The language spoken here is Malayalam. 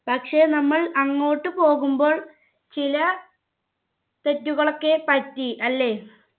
പക്ഷെ നമ്മൾ അങ്ങോട്ട് പോകുമ്പോൾ ചില തെറ്റുകളൊക്കെ പറ്റി അല്ലെ